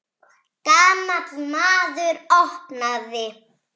Gamall maður opnaði.